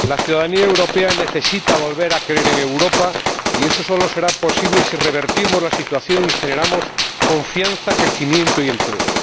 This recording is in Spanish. Señora Presidenta, la ciudadanía europea necesita volver a creer en Europa y eso solo será posible si revertimos la situación y generamos confianza, crecimiento y empleo.